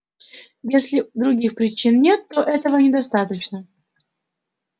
если других причин нет то этого недостаточно